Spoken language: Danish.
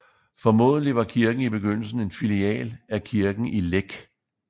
Formodentlig var kirken i begyndelsen en filial af kirken i Læk